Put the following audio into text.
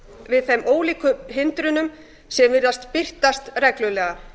við þeim ólíku hindrunum sem virðast birtast reglulega